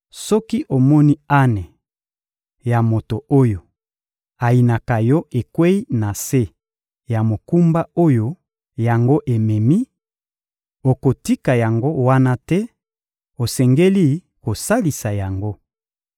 Soki omoni ane ya moto oyo ayinaka yo ekweyi na se ya mokumba oyo yango ememi, okotika yango wana te; osengeli kosalisa yango.